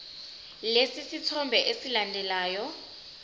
lesi sithombe esilandelayo